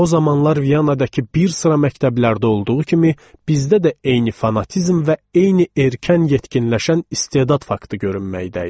O zamanlar Vyanadakı bir sıra məktəblərdə olduğu kimi, bizdə də eyni fanatizm və eyni erkən yetkinləşən istedad faktı görünməkdə idi.